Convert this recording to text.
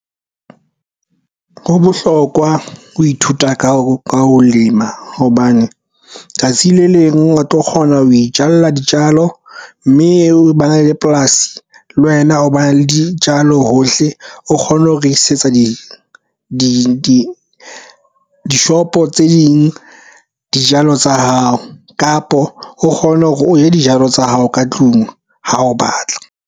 Ho bohlokwa ho ithuta ka ho lema hobane tsatsi le leng o tlo kgona ho itjalla ditjalo mme ba na le polasi le wena ho bane le di jalo hohle. O kgone ho re isetsa dishopo tse ding dijalo tsa hao kapo o kgone hore o je dijalo tsa hao ka tlung ha o batla.